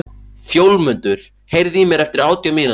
Fjólmundur, heyrðu í mér eftir átján mínútur.